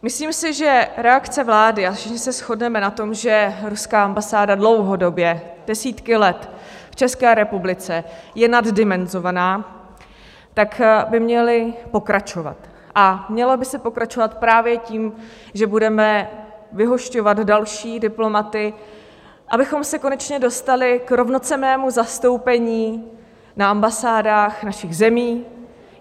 Myslím si, že reakce vlády, a všichni se shodneme na tom, že ruská ambasáda dlouhodobě desítky let v České republice je naddimenzovaná, tak by měly pokračovat a mělo by se pokračovat právě tím, že budeme vyhošťovat další diplomaty, abychom se konečně dostali k rovnocenném zastoupení na ambasádách našich zemí.